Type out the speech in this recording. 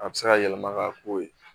A bɛ se ka yɛlɛma ka k'o ye